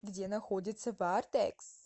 где находится вардекс